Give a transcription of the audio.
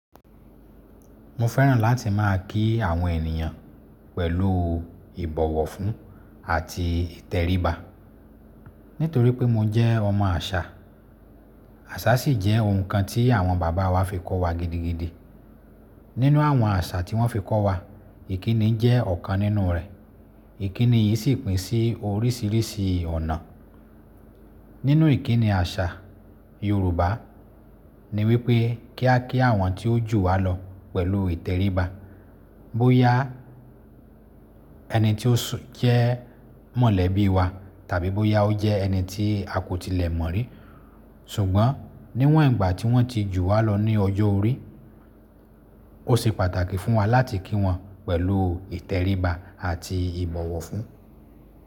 Mo fẹ́ràn láti máa kí àwọn ènìyàn pẹ̀lú ìbọ̀wọ̀ fún àti ìtẹríba nítorí pé mo jẹ́ ọmọ àṣà. Àṣà sì jẹ́ ohun kan tí àwọn bàbá wa fi kọ́ wa gidigidi. Nínú àwọn àṣà tí wọ́n fi kọ́ wa, ìkíni jẹ́ ọ̀kan nínú rẹ̀. Ìkíni yìí sì pín sí oríṣiríṣi ọ̀nà. Nínú ìkíni àṣà Yorùbá ni wípé kí a kí àwọn tí ó jù wá lọ pẹ̀lú ìtẹríba. Bóyá ẹni tí ó jẹ́ mọ̀lẹ́bí wa tàbí bóyá ó jẹ́ ẹni tí a kò tilẹ̀ mọ̀ rí. Ṣùgbọ́n níwọ̀n ìgbà tí wọ́n ti jù wá lọ ní ọjọ́ orí, ó ṣe pàtàkì fún wa láti kí wọn pẹ̀lú ìtẹríba àti ìbọ̀wọ̀ fún.